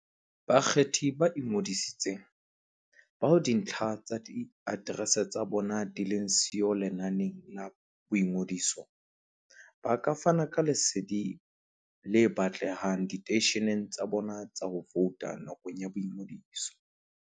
Bakgethi ba ingodisitseng, bao dintlha tsa diaterese tsa bona di leng siyo lenaneng la boingodiso, ba ka fana ka lesedi le batlehang diteisheneng tsa bona tsa ho vouta nakong ya boingodiso.